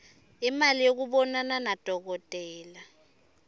imali yekubonana nadokotela